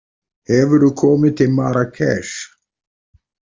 Hefurðu komið til Marrakesh?